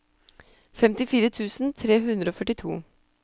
femtifire tusen tre hundre og førtito